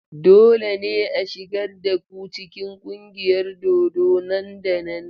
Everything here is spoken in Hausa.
Dole ne a shigar da ku cikin ƙungiyar dodo nan da nan!